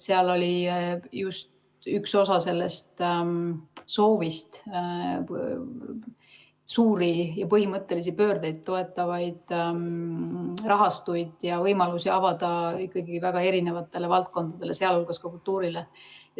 Seal oli just üks osa sellest, et sooviti suuri ja põhimõttelisi pöördeid toetavaid rahastuid ja võimalusi avada ikkagi väga erinevatele valdkondadele, sh kultuurile.